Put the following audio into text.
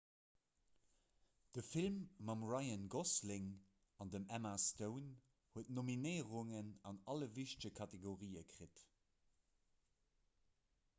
de film mam ryan gosling an dem emma stone huet nominéierungen an alle wichtege kategorië kritt